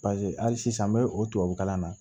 Paseke hali sisan n bɛ o tubabu kalan na